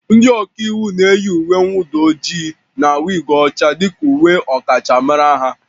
Ndị ọka iwu na-eyi uwe mwụda ojii na wig ọcha dị ka uwe ndị ọkachamara ha